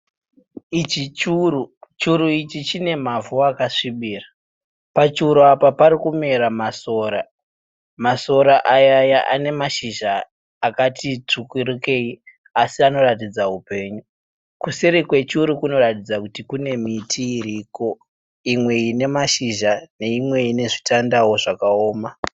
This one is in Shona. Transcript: Ichi churu. Churu ichi chine mavhu akasvibira. Pachuru apa parikumera masora. Masora aya ane mashizha akati tsvukirukei asi anoratidza hupenyu. Kuseri kwechuru kunoratidza kuti kune miti iriko imwe ine mashizha neimwe ine zvitandawo zvakaoma.